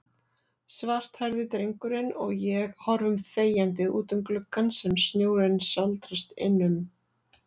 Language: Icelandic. Svarthærði drengurinn og ég horfum þegjandi útum gluggann sem snjórinn sáldrast innum.